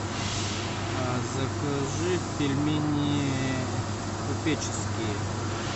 закажи пельмени купеческие